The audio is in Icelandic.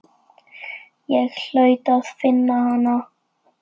Ég hlaut að finna hana.